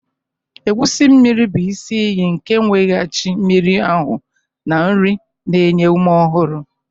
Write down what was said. Egusi mmiri bụ isi iyi nke nweghachi mmiri ahu na nri na-enye ume ọhụrụ.